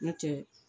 N'o tɛ